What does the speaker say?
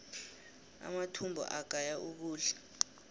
amathumbu agaya ukudla